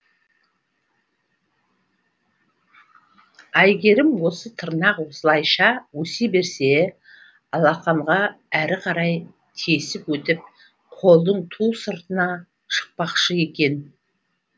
айгәрім осы тырнақ осылайша өсе берсе алақанға әрі қарай тесіп өтіп қолдың ту сыртына шықпақшы екен